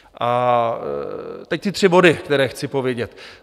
A teď ty tři body, které chci povědět.